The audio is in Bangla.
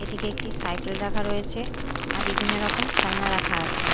এদিকে একটি সাইকেল রাখা রয়েছে আর বিভিন্ন রকম খেলনা রাখা আছে।